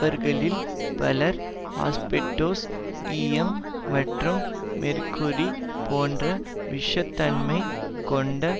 அவர்களில் பலர் ஆஸ்பெஸ்டோஸ் ஈயம் மற்றும் மேர்க்குரி போன்ற விஷத்தன்மை கொண்ட